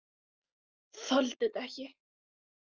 Þoldi þetta ekki!